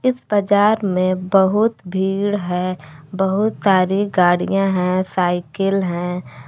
बाजार में बहुत भीड़ है बहुत सारी गाड़ियां है साइकिल है।